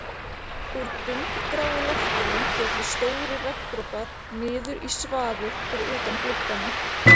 Úr dumbgráu loftinu féllu stórir regndropar niður í svaðið fyrir utan gluggana